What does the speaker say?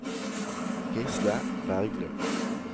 Gisle Berglund